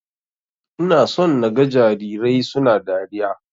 Ina so naga jarirai suna dariya.